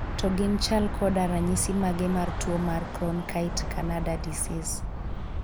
To gin chal koda ranyisi mage mar tuo mar Cronkhite Canada disease?